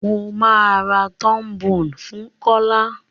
Mọ má rá trombone fún Kọla.